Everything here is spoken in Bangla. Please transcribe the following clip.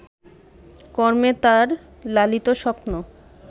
কর্মে তাঁর লালিত স্বপ্ন